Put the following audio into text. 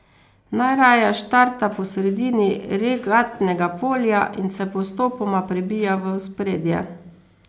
Najraje štarta po sredini regatnega polja in se postopoma prebija v ospredje.